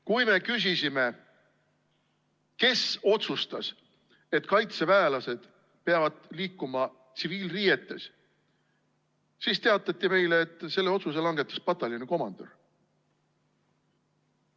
Kui me küsisime, kes otsustas, et kaitseväelased peavad liikuma tsiviilriietes, siis teatati meile, et selle otsuse langetas pataljoni komandör.